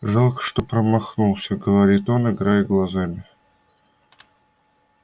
жалко что промахнулся говорит он играя глазами